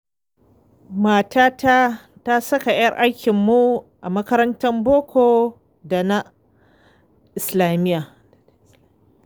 Matata ta saka 'yar aikinmu a makarantar boko da ta islamiyya.